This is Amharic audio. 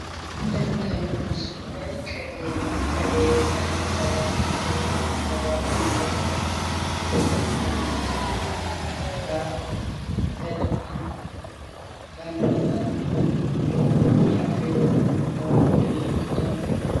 ምስሉ የሚያሳየው ቅቤ ሲሆን ቅቤ ወተቱ ከተገፋ በኋላ የሚገኝ የወተት ተዋጽኦ ነው። ምስሉ የሚያሳየው ያልተነጠረ አልጫ ቅቤን ነው።